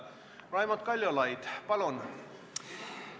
Raimond Kaljulaid, palun!